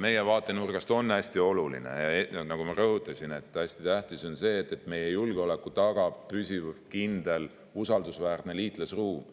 meie vaatenurgast hästi tähtis see, nagu ma rõhutasin, et meie julgeoleku tagab püsiv, kindel ja usaldusväärne liitlasruum.